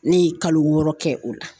Ne ye kalo wɔɔrɔ kɛ o la